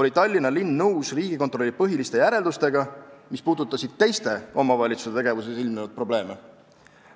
oli Tallinna linn nõus Riigikontrolli põhiliste järeldustega, mis puudutasid teiste omavalitsuste tegevuses ilmnenud probleeme.